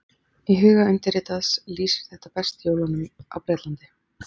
Í huga undirritaðs lýsir þetta best jólunum á Bretlandi.